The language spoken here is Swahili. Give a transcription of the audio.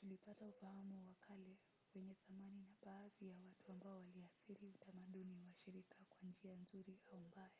tulipata ufahamu wa kale wenye thamani na baadhi ya watu ambao waliathiri utamaduni wa shirika kwa njia nzuri au mbaya